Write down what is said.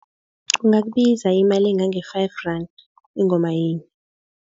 Kungakubiza imali engange-five rand ingoma yinye.